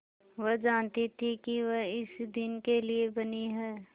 वह जानती थी कि वह इसी दिन के लिए बनी है